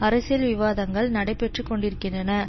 அரசியல் விவாதங்கள் நடைபெற்று கொண்டிருக்கின்றன